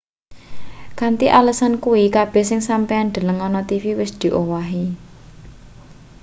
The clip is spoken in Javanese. kanthi alesan kuwi kabeh sing sampeyan deleng ana tv wis diowahi